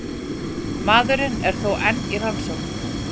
Maðurinn er þó enn í rannsókn